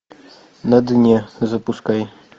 на дне запускай